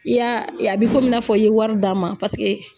I y'a ye a bɛ komi i n'a fɔ i ye wari d'a ma paseke